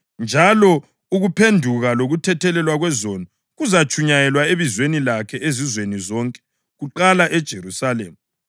njalo ukuphenduka lokuthethelelwa kwezono kuzatshunyayelwa ebizweni lakhe ezizweni zonke, kuqala eJerusalema.